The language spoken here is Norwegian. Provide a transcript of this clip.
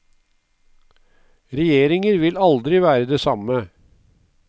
Regjeringer vil aldri være det samme.